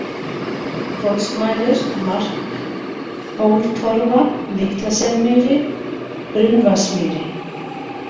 Hvolsmælir, Markhóltorfa, Litla-Selmýri, Brunnvatnsmýri